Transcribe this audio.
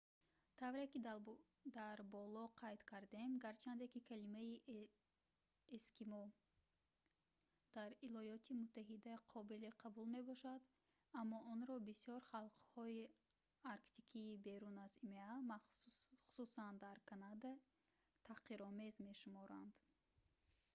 тавре ки дар боло қайд кардем гарчанде ки калимаи «эскимо» дар иёлоти муттаҳида қобили қабул мебошад аммо онро бисёр халқҳои арктикии берун аз има хусусан дар канада таҳқиромез мешуморанд